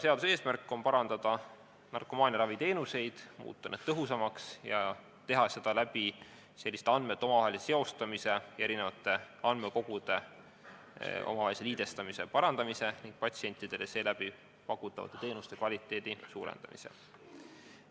Seaduse eesmärk on parandada narkomaaniaraviteenuseid, muuta need tõhusamaks ja teha seda andmete omavahelise seostamise, eri andmekogude omavahelise liidestamise ja parandamise ning patsientidele seeläbi pakutavate teenuste kvaliteedi parandamise abil.